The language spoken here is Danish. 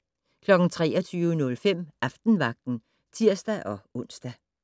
23:05: Aftenvagten (tir-ons)